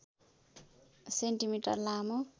centimetre लामो